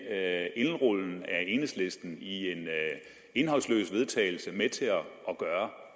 af enhedslisten i en indholdsløs vedtagelse med til at gøre